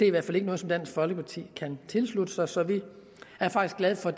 i hvert fald ikke noget som dansk folkeparti kan tilslutte sig så vi er faktisk glade for